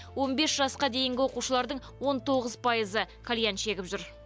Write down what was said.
он бес жасқа дейінгі оқушылардың он тоғыз пайызы кальян шегіп жүр